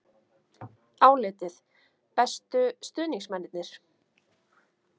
Álitið: Bestu stuðningsmennirnir?